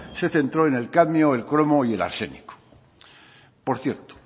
se centró en el cadmio cromo y arsénico por cierto